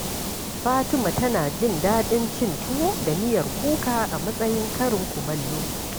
Fatima tana jin daɗin cin tuwo da miyar kuka a matsayin karin kumallo.